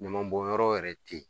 Ɲama bɔnyɔrɔ yɛrɛ te yen.